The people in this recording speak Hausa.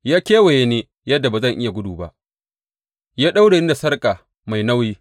Ya kewaye ni yadda ba zan iya gudu ba; Ya daure ni da sarƙa mai nauyi.